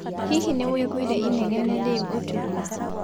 Hihi nĩũiguire inegene rĩũ ũtukũ?